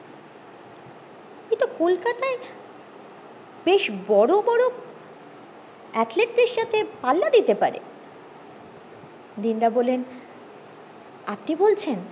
বেশ বড়ো বড়ো athlete দেড় সাথে পাল্লা দিতে পারে দিন দা বললেন আপনি বলছেন